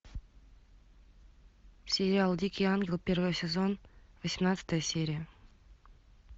сериал дикий ангел первый сезон восемнадцатая серия